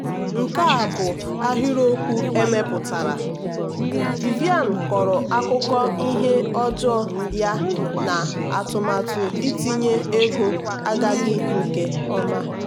nke a bụ ahịrịokwu emepụtara: vivian kọrọ akụkọ ihe ọjọọ ya na atụmatụ itinye ego agaghị nke ọma.